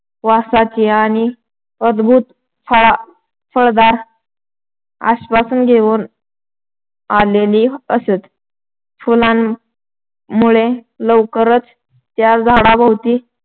वासाची आणि अद्भुत फळ फळदार आश्‍वासन घेऊन आलेली असत. फुलांमुळं लवकरच त्या झाडाभोवती